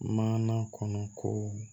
Mana kɔnɔ ko